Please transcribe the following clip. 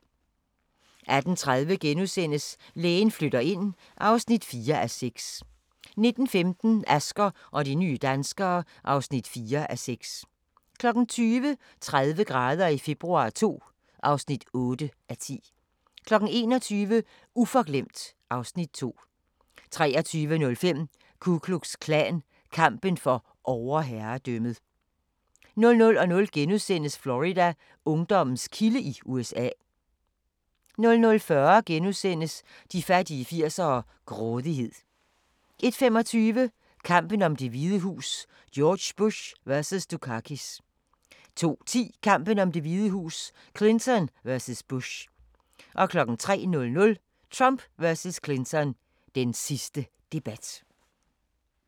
18:30: Lægen flytter ind (4:6)* 19:15: Asger og de nye danskere (4:6) 20:00: 30 grader i februar II (8:10) 21:00: Uforglemt (Afs. 2) 23:05: Ku Klux Klan – kampen for overherredømmet 00:00: Florida: Ungdommens kilde i USA * 00:40: De fattige 80'ere: Grådighed * 01:25: Kampen om Det Hvide Hus: George Bush vs. Dukakis 02:10: Kampen om Det Hvide Hus: Clinton vs. Bush 03:00: Trump vs. Clinton – den sidste debat